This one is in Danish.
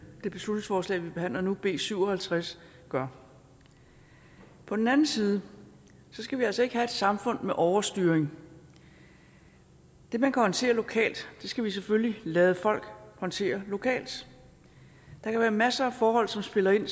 det beslutningsforslag vi behandler nu b syv og halvtreds gør på den anden side skal vi altså ikke have et samfund med overstyring det man kan håndtere lokalt skal vi selvfølgelig lade folk håndtere lokalt der kan være masser af forhold som spiller ind